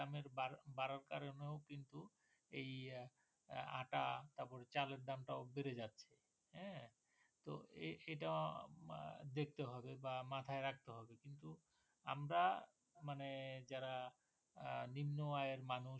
এই আটা বা চালের দামটাও বেড়ে যাচ্ছে এ তো এটা দেখতে হবে বা মাথায় রাখতে হবে কিন্তু আমরা মানে যারা নিম্ন আয়ের মানুষ